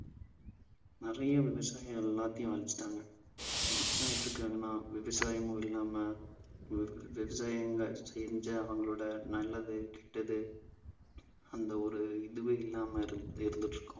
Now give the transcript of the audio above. நிறைய விவசாயம் எல்லாத்தையும் அழிச்சிட்டாங்க. இப்ப என்ன ஆயிட்டிருக்காங்கன்னா விவசாயமும் இல்லாம வு~ விவசாயங்க செஞ்ச அவங்களோட நல்லது கெட்டது அந்த ஒரு இதுவே இல்லாம இருந்து~ இருந்துட்டிருக்கோம்.